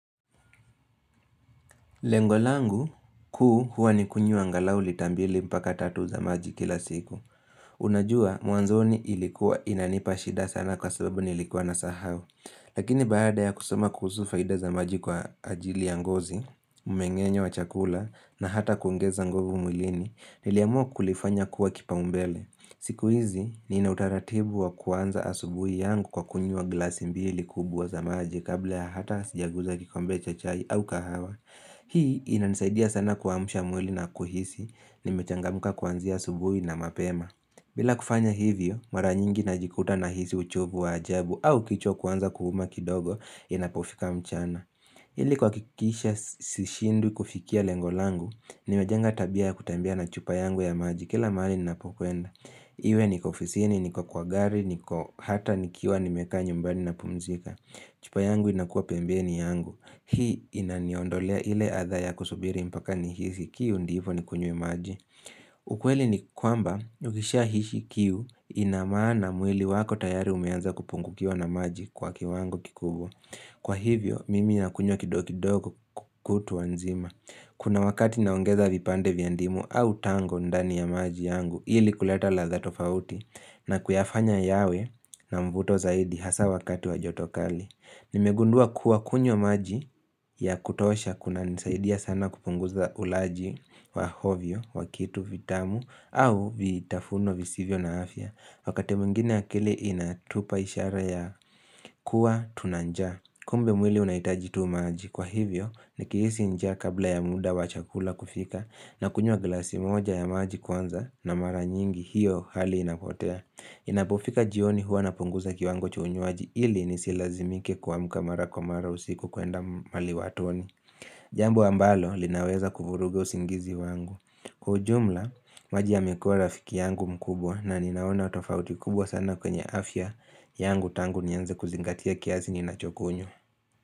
Lengo langu, kuu huwa nikunyua angalau lita mbili mpaka tatu za maji kila siku. Unajua, mwanzoni ilikuwa inanipa shida sana kwa sababu nilikuwa na sahau. Lakini baada ya kusoma kuhusu faida za maji kwa ajili ya ngozi, umengenyo wa chakula na hata kuongeza nguvu mwilini, niliamua kulifanya kuwa kipao mbele. Siku hizi, nina utaratibu wa kuanza asubuhi yangu kwa kunywa glasi mbili kubwa za maji kabla ya hata sijaguza kikombe cha chai au kahawa. Hii inanisaidia sana kuamsha mwili na kuhisi, nimechangamka kuanzia asubuhi na mapema bila kufanya hivyo, mara nyingi najikuta na hisi uchovu wa ajabu au kichwa kuanza kuuma kidogo inapofika mchana ili kuhakikisha sishindwi kufikia lengo langu, nimejenga tabia ya kutembea na chupa yangu ya maji kila mali ninapokuenda Iwe niko ofisini, niko kwa gari, niko hata nikiwa nimekaa nyumbani na pumzika chupa yangu inakuwa pembeni yangu Hii inaniondolea ile atha ya kusubiri mpaka ni hishi kiu ndiyvo nikunywe maji ukweli ni kwamba, ukisha hishi kiu inamaana mwili wako tayari umeanza kupungukiwa na maji kwa kiwango kikubwa Kwa hivyo, mimi na kunywa kidogo kidogo kutwa nzima Kuna wakati naongeza vipande vya ndimu au tango ndani ya maji yangu ili kuleta ladha tofauti na kuyafanya yawe na mvuto zaidi hasa wakati wa joto kali Nimegundua kuwa kunywa maji ya kutosha kuna nisaidia sana kupunguza ulaji wa ovyo, wa kitu, vitamu au vitafuno visivyo na afya Wakati mwingine akili inatupa ishara ya kuwa tuna njaa Kumbe mwili unahitaji tu maji kwa hivyo ni kihisi njaa kabla ya muda wa chakula kufika na kunywa glasi moja ya maji kwanza na mara nyingi hiyo hali inapotea Inapofika jioni huwa napunguza kiwango cha unywaji ili nisi lazimike kuamka maramara usiku kuenda mali watoni Jambo ambalo linaweza kufurugu usingizi wangu Kwa ujumla, maji yamekuwa rafiki yangu mkubwa na ninaona tafauti kubwa sana kwenye afya yangu tangu nianze kuzingatia kiasi ninachokunywa.